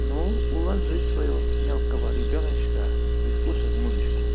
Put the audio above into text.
ну ложи своего мелкого ребёночка и слушаю музычку